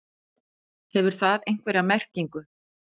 Hefur það einhverja merkingu?